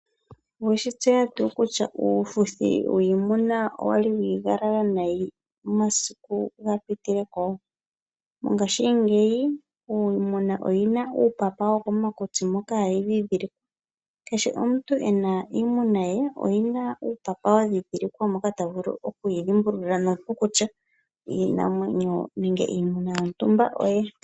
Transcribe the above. Oweshitseya tuu kutya uufuthi wiimuna owali wiigalala nayi omasiku gapitile ko, ngashingeyi iimuna oyina uupapa wo komakutsi moka hayi dhidhilikwa. Kehe omuntu ena iimuna ye oyina uupapa wadhidhilikwa mpoka tavulu okuyi dhimbulula nuupu kutya iinamwenyo nenge iimuna yontumba oyaye.